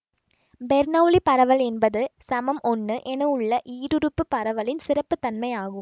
Bernoulli பரவல் என்பது சமம் ஒன்னு என உள்ள ஈருறுப்பு பரவலின் சிறப்பு தன்மை ஆகும்